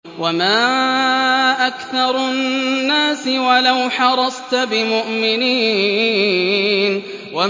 وَمَا أَكْثَرُ النَّاسِ وَلَوْ حَرَصْتَ بِمُؤْمِنِينَ